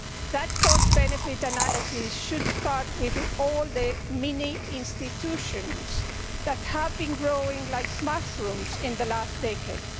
That cost benefit analysis should start with all the mini institutions that have been growing like mushrooms in the last decade.